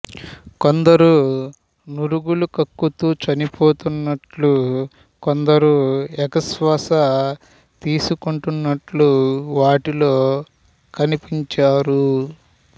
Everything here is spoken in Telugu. కొందరు నురగలు కక్కుతూ చనిపోతున్నట్లు కొందరు ఎగశ్వాస తీసుకుంటున్నట్లు వాటిలో కనిపించారు